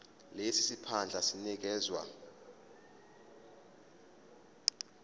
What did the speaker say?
lesi siphandla sinikezwa